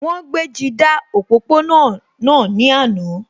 Wọ́n gbéji dá òpópó-ọ̀nà náà ní àná